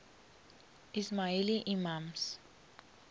ismaili imams